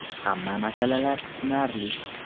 Hamma masalalar tushunarli.